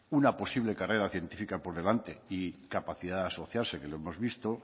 una posible carrera científica por delante y capacidad de asociarse que lo hemos visto